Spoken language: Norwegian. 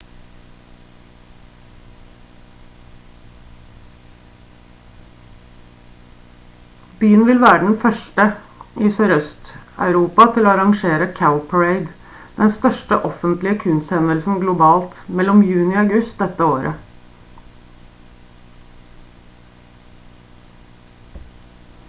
byen vil være den 1. i sør-øst-europa til å arrangere cowparade den største offentlige kunsthendelsen globalt mellom juni og august dette året